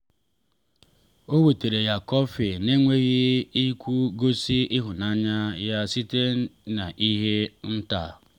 ọ wetara ya kọfị n’enweghị ikwu gosi ịhụnanya ya site n’ihe nta.